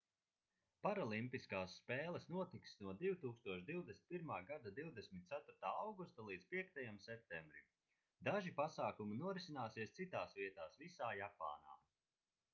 paralimpiskās spēles notiks no 2021. gada 24. augusta līdz 5. septembrim daži pasākumi norisināsies citās vietās visā japānā